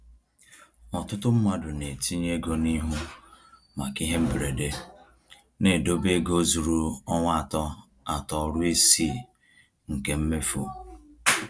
Ọtụtụ mmadụ na-etinye ego n’ihu maka ihe mberede, na-edobe ego zuru ọnwa atọ atọ ruo isii nke mmefu.